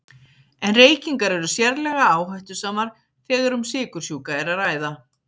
En reykingar eru sérlega áhættusamar þegar um sykursjúka er að ræða.